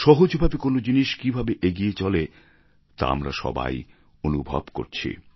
সহজভাবে কোন জিনিস কীভাবে এগিয়ে চলে তা আমরা সবাই অনুভব করছি